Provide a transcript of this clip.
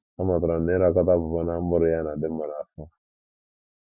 Amụtara m na ịrakọta pọpọ na mkpụrụ ya na - adị mma n’afọ.